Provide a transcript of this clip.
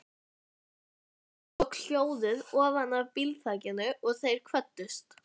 Og skilur eftir samviskubit sem grær seint og illa.